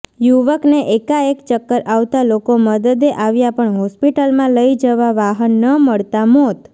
યુવકને એકાએક ચક્કર આવતાં લોકો મદદે આવ્યા પણ હોસ્પિટલમાં લઇ જવા વાહન ન મળતાં મોત